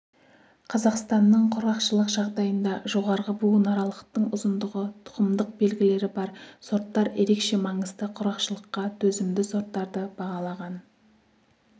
қазақстанның құрғақшылық жағдайында жоғарғы буынаралықтың ұзындығы тұқымдық белгілері бар сорттар ерекше маңызды құрғақшылыққа төзімді сорттарды бағалаған